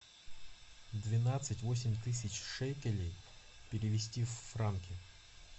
двенадцать восемь тысяч шекелей перевести в франки